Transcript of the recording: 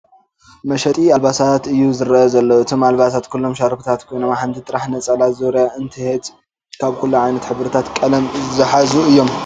መሸጢ ኣልባሳት እዩ ዝረኣ ዘሎ እቶም ኣልባሳት ኹሎም ሻርፕታት ኮይኖም ሓንቲ ጥረሕ ነፀላ ዙርያ እንሄተት ካብ ኩሉ ዓይነት ሕብርታት ቐለም ዝሓዙ እዩም ።